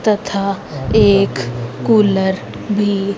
तथा एक कूलर भी--